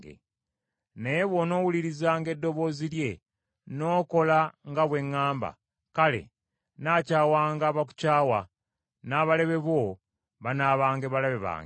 Naye bw’onoowulirizanga eddoboozi lye, n’okola nga bwe ŋŋamba, kale nnaakyawanga abakukyawa, n’abalabe bo banaabanga balabe bange.